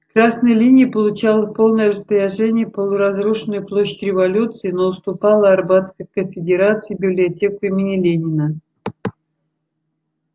красная линия получала в полное распоряжение полуразрушенную площадь революции но уступала арбатской конфедерации библиотек имени ленина